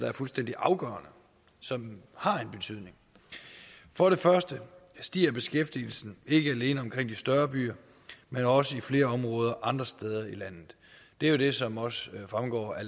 er fuldstændig afgørende som har en betydning for det første stiger beskæftigelsen ikke alene omkring de større byer men også i flere områder andre steder i landet det er jo det som også fremgår af